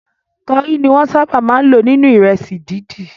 Kori ni wọ́n sábà máa ń lò nínú ìrẹsì dídì.